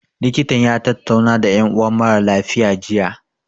Likitan ya tattauna da ƴan uwan mara lafiya, jiya.